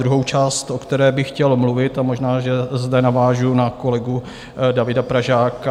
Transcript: Druhá část, o které by chtěl mluvit, a možná že zde navážu na kolegu Davida Pražáka.